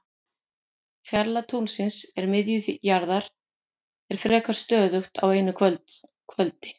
Fjarlægð tunglsins að miðju jarðar er frekar stöðug á einu kvöldi.